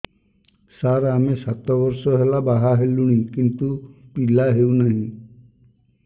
ସାର ଆମେ ସାତ ବର୍ଷ ହେଲା ବାହା ହେଲୁଣି କିନ୍ତୁ ପିଲା ହେଉନାହିଁ